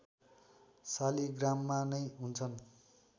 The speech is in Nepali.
शालिग्राममा नै हुन्छन्